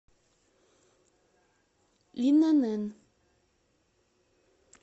инн